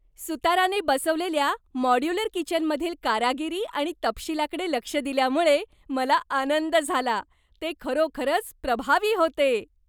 सुताराने बसवलेल्या मॉड्यूलर किचनमधील कारागिरी आणि तपशीलाकडे लक्ष दिल्यामुळे मला आनंद झाला. ते खरोखरच प्रभावी होते.